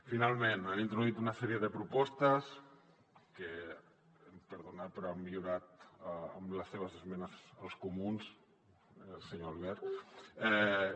finalment han introduït una sèrie de propostes que em perdonaran però l’han millorat amb les seves esmenes els comuns senyor albert